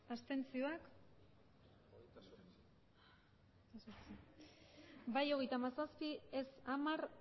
abstenzioak emandako botoak hirurogeita hamabost bai hogeita hamazazpi ez hamar